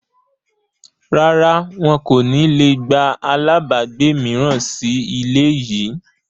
Rárá, wọn kò ní le gba àlábagbé mìíràn sì ilé yìí